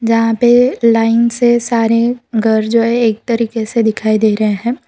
जहां पे लाइन से सारे घर जो है एक तरीके से दिखाई दे रहे हैं।